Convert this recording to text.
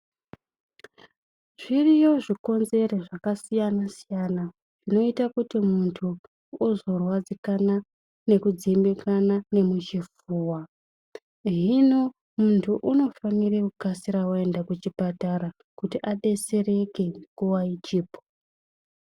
Zviriyo zvikonzeri zvakasiyana-siyana zvinoite kuti muntu uzorwadzikana nekudzimbikana nemuchipfuwa. Hino muntu unofanire kukasira aenda kuchipatara kuti abesereke nguva ichipo.